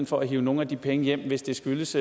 for at hive nogle af de penge hjem hvis det skyldes